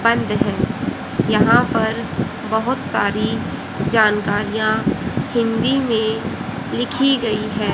बंद है। यहां पर बहोत सारी जानकारियां हिंदी में लिखी गई है।